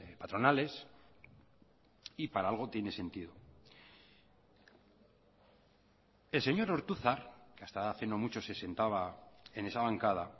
patronales y para algo tiene sentido el señor ortuzar que hasta hace no mucho se sentaba en esa bancada